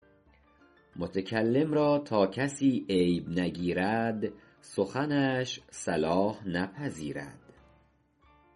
متکلم را تا کسی عیب نگیرد سخنش صلاح نپذیرد مشو غره بر حسن گفتار خویش به تحسین نادان و پندار خویش